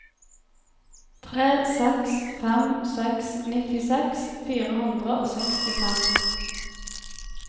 tre seks fem seks nittiseks fire hundre og sekstifem